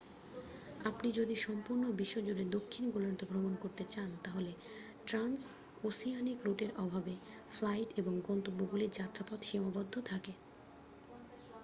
আপনি যদি সম্পূর্ণ বিশ্বজুড়ে দক্ষিণ গোলার্ধে ভ্রমণ করতে চান তাহলে ট্রান্স ওসিয়ানিক রুটের অভাবে ফ্লাইট এবং গন্তব্যগুলির যাত্রাপথ সীমাবদ্ধ থাকে